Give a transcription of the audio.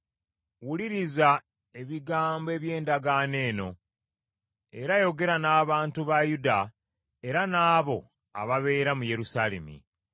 Wuliriza ebigambo by’endagaano eno era yogera n’abantu ba Yuda era n’abo ababeera mu Yerusaalemi.